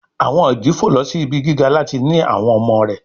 Àwọn ìdí fò lọ sì ibí gíga láti ní àwọn ọmọ rẹ